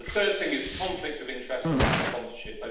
The third thing is conflicts of interest around sponsorship